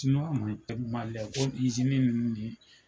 Siniwa nunnu tɛgɛmalɛ ko izini nunnu ni